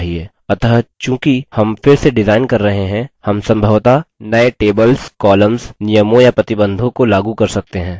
अतः चूँकि हम फिर से डिजाइन कर रहे हैं हम सम्भवतः नए tables columns नियमों या प्रतिबंधों को लागू कर सकते हैं